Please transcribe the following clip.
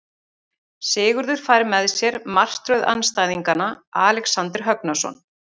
Sigurður fær með sér martröð andstæðingana Alexander Högnason.